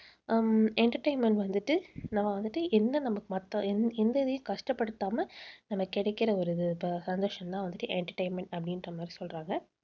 உம் entertainment வந்துட்டு நம்ம வந்துட்டு என்ன நமக்கு மத்த எந்~ எந்த இதையும் கஷ்டப்படுத்தாம நமக்கு கிடைக்கிற ஒரு இது சந்தோஷம்தான் வந்துட்டு entertainment அப்படின்ற மாதிரி சொல்றாங்க.